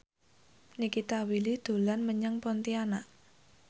Nikita Willy dolan menyang Pontianak